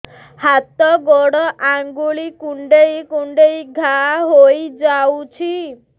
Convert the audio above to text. ହାତ ଗୋଡ଼ ଆଂଗୁଳି କୁଂଡେଇ କୁଂଡେଇ ଘାଆ ହୋଇଯାଉଛି